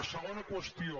segona qüestió